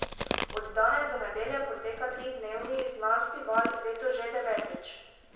Od danes do nedelje poteka tridnevni Znanstival, letos že devetič.